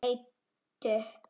Hún leit upp.